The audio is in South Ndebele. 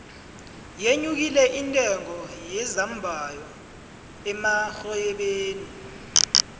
yenyukile intengo yezambayho emarhwebeni